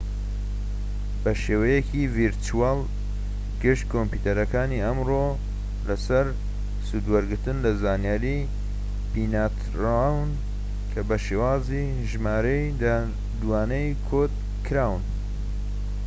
بە شێوەیەکی ڤیرچوەڵ گشت کۆمپیۆتەرەکانی ئەمڕۆ لە سەر سوودوەرگرتن لە زانیاری بنیاتنراون کە بە شێوازی ژمارەی دوانەیی کۆد کراون